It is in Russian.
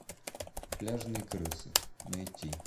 пляжные крысы найти